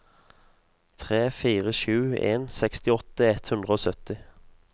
tre fire sju en sekstiåtte ett hundre og sytti